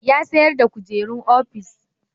Ya sayar da kujerun ofis